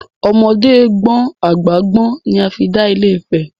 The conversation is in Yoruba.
Ọmọdé gbọ́n àgbà gbọ́n ni a fi dálé Ifẹ̀.